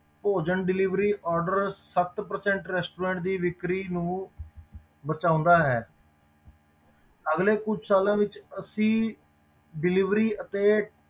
ਭੋਜਨ delivery order ਸੱਤ percent restaurant ਦੀ ਵਿੱਕਰੀ ਨੂੰ ਬਚਾਉਂਦਾ ਹੈ ਅਗਲੇ ਕੁਛ ਸਾਲਾਂ ਵਿੱਚ ਅਸੀਂ delivery ਅਤੇ